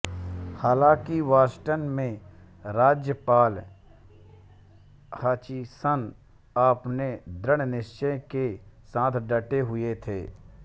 हालांकि बॉस्टन में राज्यपाल हचिसन अपने दृढ़ निश्चय के साथ डटे हुए थे